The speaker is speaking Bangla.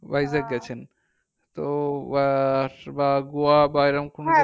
ভাইজ্যাক গেছেন তো আহ বা গোয়া বা এরোকো কোনো